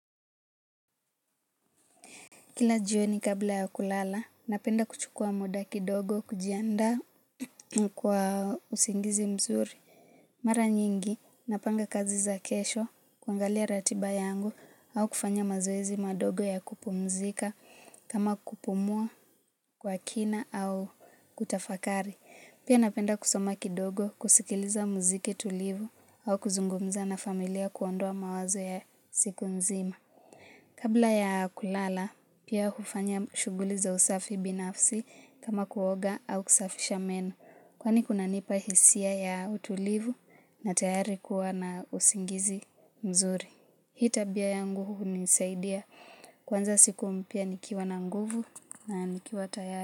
Kila jioni kabla ya kulala, napenda kuchukua muda kidogo, kujiandaa kwa usingizi mzuri. Mara nyingi, napanga kazi za kesho, kuangalia ratiba yangu, au kufanya mazoezi madogo ya kupumzika, kama kupumua kwa kina au kutafakari. Pia napenda kusoma kidogo, kusikiliza muziki tulivu, au kuzungumza na familia kuondoa mawazo ya siku mzima. Kabla ya kulala, pia hufanya shughuli za usafi binafsi kama kuoga au kusafisha meno, kwani kunanipa hisia ya utulivu na tayari kuwa na usingizi mzuri. Hii tabia yangu hunisaidia kuanza siku mpya nikiwa na nguvu na nikiwa tayari.